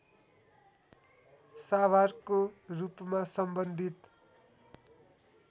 साभारको रूपमा सम्बन्धित